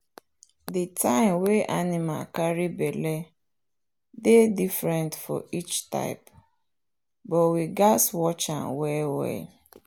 the time wey animal carry belle dey different for each type but we gatz watch am well well.